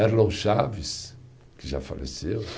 Erlon Chaves, que já faleceu.